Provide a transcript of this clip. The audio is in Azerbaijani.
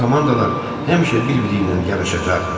Bu komandalar həmişə bir-biri ilə yarışacaqdı.